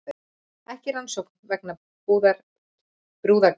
Ekki rannsókn vegna brúðargjafa